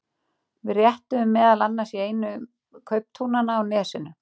Við réttuðum meðal annars í einu kauptúnanna á Nesinu.